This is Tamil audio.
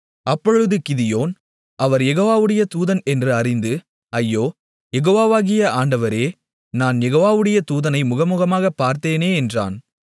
அப்பொழுது கிதியோன் அவர் யெகோவாவுடைய தூதன் என்று அறிந்து ஐயோ யெகோவாவாகிய ஆண்டவரே நான் யெகோவாவுடைய தூதனை முகமுகமாக பார்த்தேனே என்றான்